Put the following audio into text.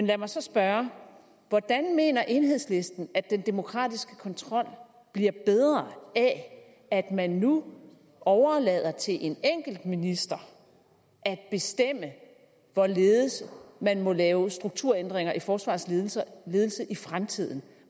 lad mig så spørge hvordan mener enhedslisten at den demokratiske kontrol bliver bedre af at man nu overlader det til en enkelt minister at bestemme hvorledes man må lave strukturændringer i forsvarets ledelse ledelse i fremtiden